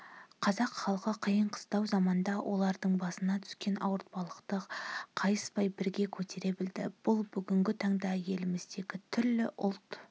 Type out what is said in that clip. қазақ халқы қиын-қыстау заманда олардың басына түскен ауыртпалықты қайыспай бірге көтере білді бұл бүгінгі таңда еліміздегі түрлі ұлт